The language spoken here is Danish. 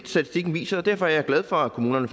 statistikken viser og derfor er jeg glad for at kommunerne